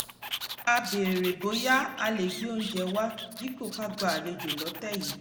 a béèrè bóyá a lè gbé oúnjẹ wá dípò ká gba àlejò lọ́tẹ̀ yìí